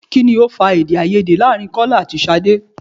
Kini ó fa Èdèáiyedé láàrin Kọ́lá àti Ṣadé?